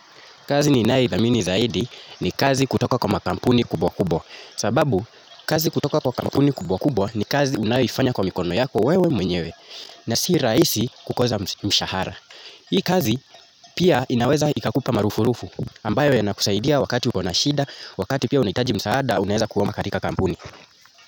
Kazi ninaithamini zaidi ni kazi kutoka kwa makampuni kubwa kubwa sababu, kazi kutoka kwa makampuni kubwa kubwa ni kazi unaifanya kwa mikono yako wewe mwenyewe na si rahisi kukosa mshahara hii kazi pia inaweza ikakupa marupu rupu ambayo yanakusaidia wakati ukona shida, wakati pia unahitaji msaada, unaweza kuomba katika kampuni.